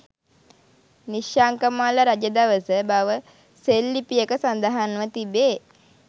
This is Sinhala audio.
නිශ්ශංකමල්ල රජ දවස බව සෙල්ලිපියක සඳහන්ව තිබේ.